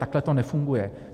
Takhle to nefunguje.